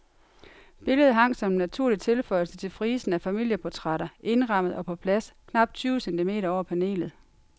Billedet hang som en naturlig tilføjelse til frisen af familieportrætter, indrammet og på plads, knapt tyve centimeter over panelet.